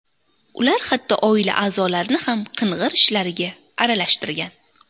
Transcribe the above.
Ular hatto oila a’zolarini ham qing‘ir ishlariga aralashtirgan.